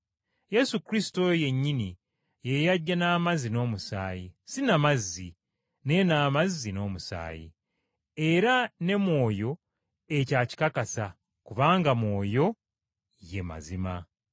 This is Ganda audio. Yesu Kristo oyo yennyini ye yajja n’amazzi n’omusaayi, si na mazzi, naye n’amazzi n’omusaayi. Era ne Mwoyo ekyo akikakasa kubanga Mwoyo ye mazima.